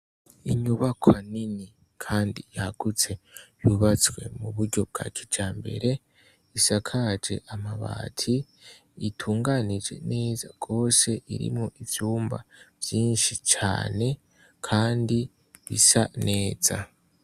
Inyubakwa nini kandi yagutse yubatswe muburyo bwakijambere, isakaje amabati itunganije neza gose irimwo ivyumba vyinshi cane, kandi bisa neza.